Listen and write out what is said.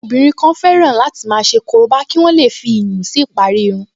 Àwọn obìnrin kan fẹ́ràn láti máa ṣe korobá kí wọ́n lè fi iyùn si ìparí irun